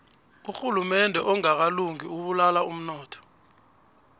urhulumende ongakalungi ubulala umnotho